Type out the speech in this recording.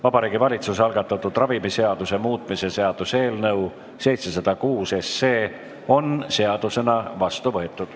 Vabariigi Valitsuse algatatud ravimiseaduse muutmise seaduse eelnõu 706 on seadusena vastu võetud.